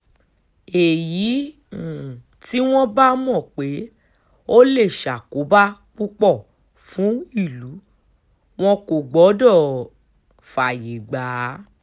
èyí um tí wọ́n bá mọ̀ pé ó lè ṣàkóbá púpọ̀ fún ìlú wọn kò gbọ́dọ̀ um fààyè gbà á